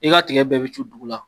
I ka tigɛ bɛɛ bi cu dugu la.